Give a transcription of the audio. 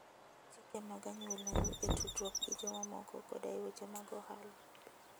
Luw chike mag anyuolau e tudruok gi jomamoko koda e weche mag ohala.